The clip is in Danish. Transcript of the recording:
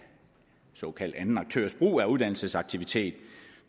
såkaldt anden aktørs brug af uddannelsesaktiviteter